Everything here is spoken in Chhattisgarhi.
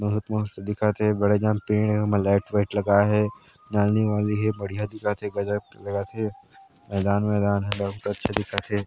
बहुत मस्त दिखत हे बड़े झन पेड़ हे उमे लाइट -वाइट लगाय हे नानी वाली हे बढ़िया दिखत हे गजब के हे मैदान- वैदान बहुत अच्छा दिखत हें।